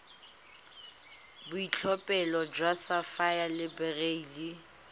boitlhophelo jwa sapphire le beryl